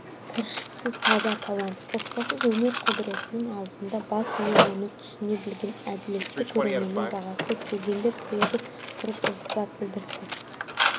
кіршіксіз таза талант қоспасыз өнер құдіретінің алдында бас иію оны түсіне білген әділетті көрерменнің бағасы келгендер түрегеп тұрып ілтипат білдірді